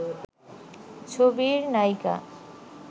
ছবির নায়িকা